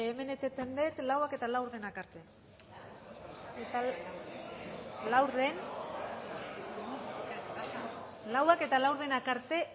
hemen eteten det hamaseihamabostak arte hamaseihamabostak arte